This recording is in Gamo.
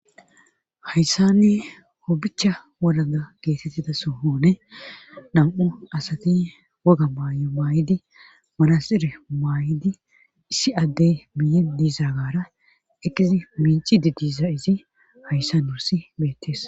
Hayssanni hopbicha wolaga geetettida soohoone nam7u asati woga maayo maay7idi manasir maay7idi issi addey miyi diizagara ekizi minci di diisa izi hayssan wursi beettees.